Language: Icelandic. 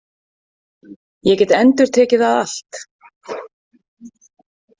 Ég get endurtekið það allt.